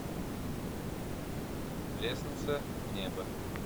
лестница в небо